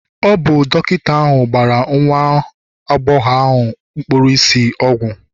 ọ bụ dọkịta ahụ gbara nwa agbọghọ ahụ kpuru ìsì ọgwụ